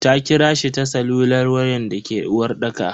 Ta kirashi ta salular wayan dake uwarɗaka.